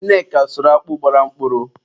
Nneka sụrụ akpụ gbara mkpụrụ.